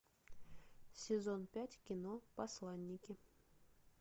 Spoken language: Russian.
сезон пять кино посланники